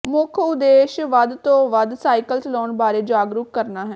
ਮੁੱਖ ਉਦੇਸ਼ ਵੱਧ ਤੋ ਵੱਧ ਸਾਈਕਲ ਚਲਾਉਣ ਬਾਰੇ ਜਾਗਰੂਕ ਕਰਨਾ ਹੈ